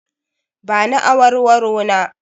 Ba ni awarwaro na!